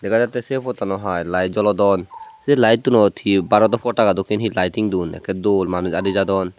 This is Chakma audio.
dega jatte se pottano hiy light jolodon se light unot he barot o potaka dokkin he lighting dun ekke dol manuj adi jadon.